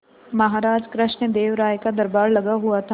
महाराज कृष्णदेव राय का दरबार लगा हुआ था